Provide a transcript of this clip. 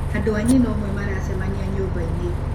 Andũ a nyina ũmwe maracemania nyũmba -inĩ